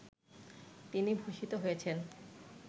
তিনি ভূষিত হয়েছেন